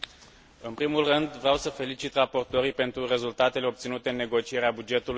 În primul rând, vreau să felicit raportorii pentru rezultatele obținute în negocierea bugetului